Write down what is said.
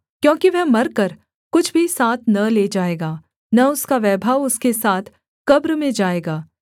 क्योंकि वह मरकर कुछ भी साथ न ले जाएगा न उसका वैभव उसके साथ कब्र में जाएगा